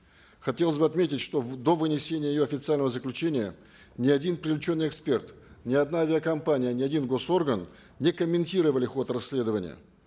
хотелось бы отметить что до вынесения ее официального заключения ни один привлеченный эксперт ни одна авиакомпания ни один госорган не комментировали ход расследования